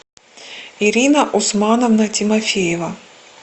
ирина усмановна тимофеева